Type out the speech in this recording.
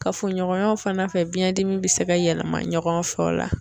Kafoɲɔgɔnyaw fana fɛ biɲɛdimi bɛ se ka yɛlɛma ɲɔgɔn fɛ o la.